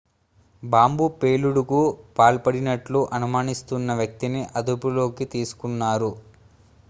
bomb పేలుడుకు పాల్పడినట్లు అనుమానిస్తున్న వ్యక్తిని అదుపులోకి తీసుకున్నారు